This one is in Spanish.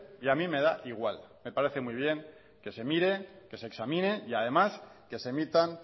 y a mí me da igual me parece muy bien que se mire que se examine y además que se emitan